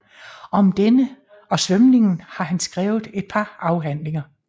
Om denne og svømningen har han skrevet et par afhandlinger